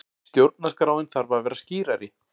Stjórnarskráin þarf að vera skýrari